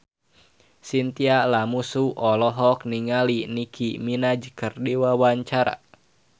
Chintya Lamusu olohok ningali Nicky Minaj keur diwawancara